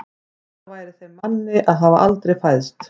Betra væri þeim manni að hafa aldrei fæðst.